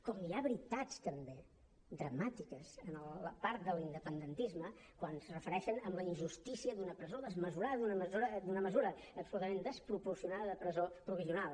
com hi ha veritats també dramàtiques en la part de l’independentisme quan es refereixen a la injustícia d’una presó desmesurada d’una mesura absolutament desproporcionada de presó provisional